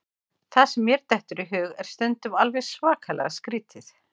Það sem mér dettur í hug er stundum alveg svakalega skrítið.